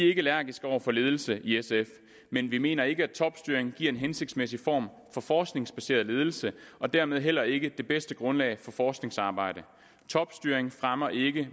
ikke allergiske over for ledelse i sf men vi mener ikke at topstyring giver en hensigtsmæssig form for forskningsbaseret ledelse og dermed heller ikke det bedste grundlag for forskningsarbejde topstyring fremmer ikke